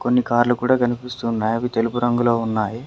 కొన్ని కార్లు కూడా కనిపిస్తున్నాయి అవి తెలుపు రంగులో ఉన్నాయి.